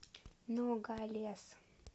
ногалес